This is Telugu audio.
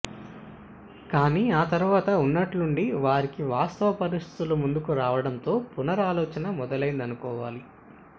కాని ఆ తర్వాత ఉన్నట్లుండి వారికి వాస్తవ పరిస్థితులు ముందుకు రావటంతో పునరాలోచన మొదలైందనుకోవాలి